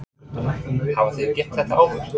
Höskuldur: Hafið þið gert þetta áður?